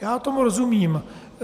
Já tomu rozumím.